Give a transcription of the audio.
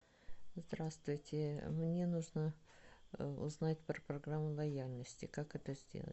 здравствуйте мне нужно узнать про программу лояльности как это сделать